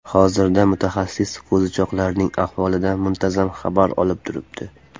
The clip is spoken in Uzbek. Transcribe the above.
Hozirda mutaxassis qo‘zichoqlarning ahvolidan muntazam xabar olib turibdi.